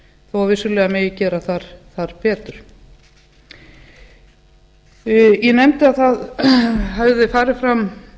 að vissulega megi gera þar betur ég nefndi að það hefði farið fram